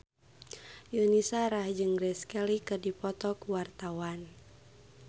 Yuni Shara jeung Grace Kelly keur dipoto ku wartawan